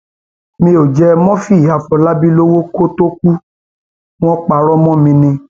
mi ò jẹ murphy àfọlábí lọwọ kó tóó kù wọn parọ mọ mi ni